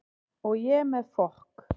Og ég með fokk